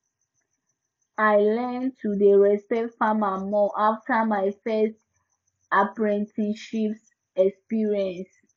i learn to dey respect farmers more after my first apprenticeship experience